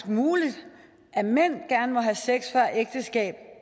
muligt at mænd gerne må have sex før ægteskabet